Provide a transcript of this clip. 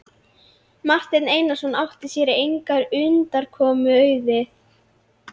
Marteinn Einarsson átti sér engrar undankomu auðið.